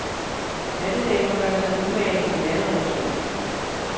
Hattedamer gør sig umage, i alle relationer.